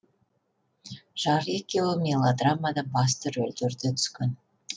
жары екеуі мелодрамада басты рөлдерде түскен